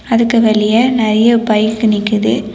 அதுக்கு வெளியே நறைய பைக் நிக்குது.